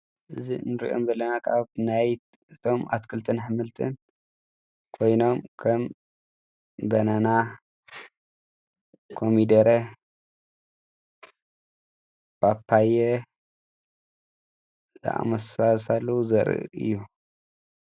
እዝ እንርኦም በለና ቃኣብ ናይት እቶም ኣትክልጥን ሕመልጥን ኮይኖም ከም በናና ኮሚደረ ባጳየ ለኣመሳሳሉ ዘር እዩ።